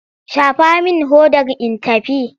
Shafa min hodar in tafi!